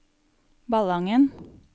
Ballangen